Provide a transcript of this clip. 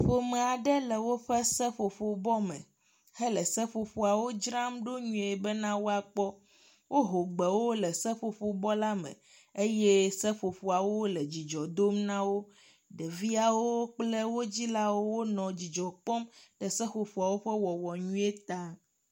ƒomeaɖe le wóƒe seƒoƒo bɔ me hele seƒoƒoawo dzramɖo nyuie bena woakpɔ wó ho gbewo le seƒoƒo bɔ la me eye seƒoƒoawo le dzidzɔ dom nawo ɖeviawo kple wó dzilawo wóle dzidzɔkpɔm ɖe seƒoƒoawo ƒe wɔwɔ nyuie ta